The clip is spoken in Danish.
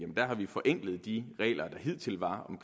har vi forenklet de regler der hidtil var